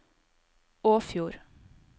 Åfjord